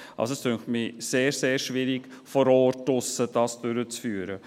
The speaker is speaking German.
» Es dünkt mich sehr, sehr schwierig, das vor Ort draussen durchzuführen.